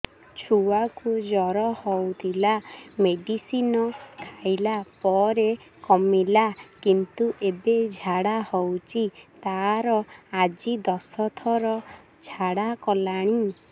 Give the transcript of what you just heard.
ଛୁଆ କୁ ଜର ହଉଥିଲା ମେଡିସିନ ଖାଇଲା ପରେ କମିଲା କିନ୍ତୁ ଏବେ ଝାଡା ହଉଚି ତାର ଆଜି ଦଶ ଥର ଝାଡା କଲାଣି